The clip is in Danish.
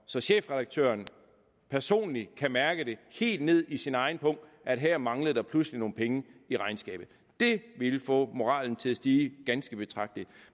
så chefredaktøren personligt kan mærke det helt ned i sin egen pung at her manglede der pludselig nogle penge i regnskabet det ville få moralen til at stige ganske betragteligt